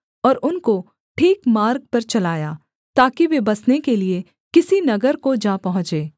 और उनको ठीक मार्ग पर चलाया ताकि वे बसने के लिये किसी नगर को जा पहुँचे